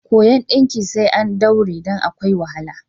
Koyon ɗinki sai an daure don akwai wahala.